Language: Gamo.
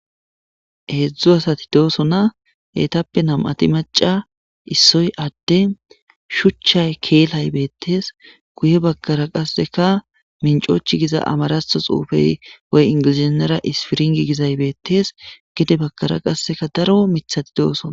Heedzdzu asati doosona eetappe nam'ati maca issoy adde shuchchay keelay beettees guye baggara qasseka mincochchi giza amaraththo xuufey woy ingilizeynara ispiringi gizay beettees gede bakara qasseka daro miiththati doosoona